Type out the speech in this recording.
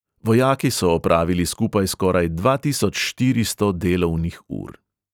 Vojaki so opravili skupaj skoraj dva tisoč štiristo delovnih ur.